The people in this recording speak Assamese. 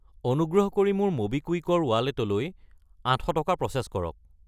অনুগ্ৰহ কৰি মোৰ ম'বিকুইক ৰ ৱালেটলৈ 800 টকা প্ৰ'চেছ কৰক।